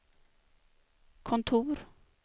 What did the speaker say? kontor